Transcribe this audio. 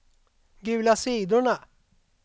gula sidorna